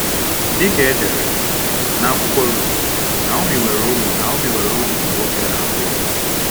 Dị ka edere n’akwụkwọ Rut, Naomi nwere ụmụ Naomi nwere ụmụ nwoke abụọ.